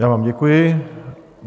Já vám děkuji.